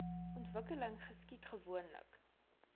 ontwikkeling geskied gewoonlik